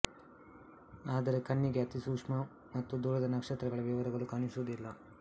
ಆದರೆ ಕಣ್ಣಿಗೆ ಅತಿ ಸೂಕ್ಷ್ಮ ಮತ್ತು ದೂರದ ನಕ್ಷತ್ರಗಳ ವಿವರಗಳು ಕಾಣಿಸುವುದಿಲ್ಲ